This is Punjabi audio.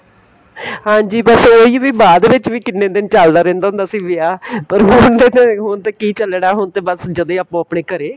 ਹਾਂਜੀ ਬੱਸ ਇਹੀ ਵੀ ਬਾਅਦ ਵਿੱਚ ਵੀ ਕਿੰਨੇ ਦਿਨ ਚੱਲਦਾ ਰਹਿੰਦਾ ਹੁੰਦਾ ਸੀ ਵਿਆਹ ਪਰ ਹੁਣ ਤੇ ਹੁਣ ਤੇ ਕਿ ਚੱਲਣਾ ਹੁਣ ਤੇ ਬੱਸ ਜਦੇਂ ਅਪਨੋ ਆਪਣੇਂ ਘਰੇ